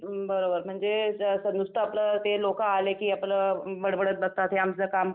बरोबर म्हणजे अ नुसतं आपल ते लोकं आलेकी आपलं बडबडत बसतात हे आमचं कामं